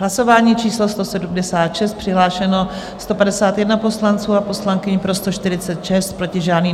Hlasování číslo 176, přihlášeno 151 poslanců a poslankyň, pro 146, proti žádný.